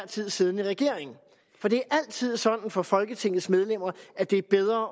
tid siddende regering for det er altid sådan for folketingets medlemmer at det er bedre